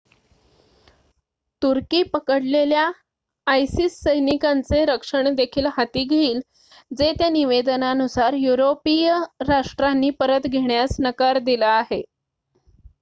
तुर्की पकडलेल्या isis सैनिकांचे रक्षण देखील हाती घेईल जे त्या निवेदनानुसार युरोपिय राष्ट्रांनी परत घेण्यास नकार दिला आहे